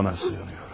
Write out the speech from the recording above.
Ona sığınıram.